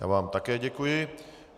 Já vám také děkuji.